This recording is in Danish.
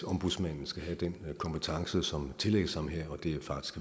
at ombudsmanden skal have den kompetence som tillægges ham her og det er faktisk